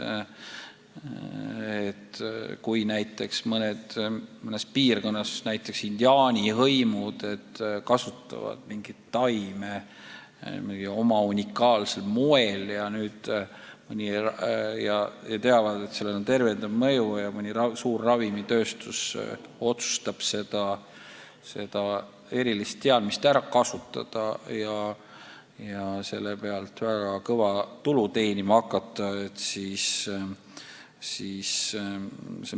Toon näiteks, et mõnes piirkonnas näiteks indiaani hõimud kasutavad mingit taime oma unikaalsel moel ja teavad, et sellel on tervendav mõju, ja mõni suur ravimitööstus otsustab seda erilist teadmist ära kasutada ja selle pealt väga kõva tulu teenima hakata.